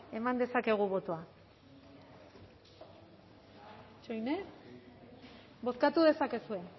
eman dezakegu botoa bozkatu dezakegu